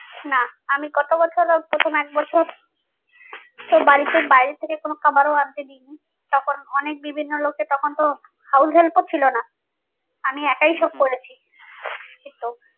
না আমি গত বছরেও প্রথম এক বছর বাড়িতে বাইরে থেকে কোনো খাবারও আনতে দিইনি তখন অনেক বিভিন্ন লোকে তখন তো house help ও ছিল না আমি